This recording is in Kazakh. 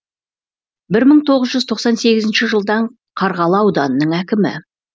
бір мың тоғыз жүз тоқсан сегізінші жылдан қарғалы ауданының әкімі